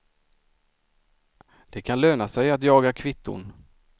Det kan löna sig att jaga kvitton.